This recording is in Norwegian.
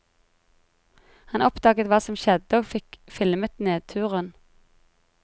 Han oppdaget hva som skjedde og fikk filmet nedturen.